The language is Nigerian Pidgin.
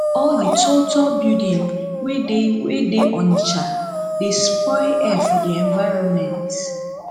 all di tall tall building wey dey wey dey onitsha dey spoil air for di environment